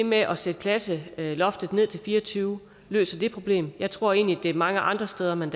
med at sætte klasseloftet ned til fire og tyve løser det problem jeg tror egentlig at det er mange andre steder man